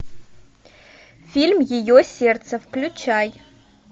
фильм ее сердце включай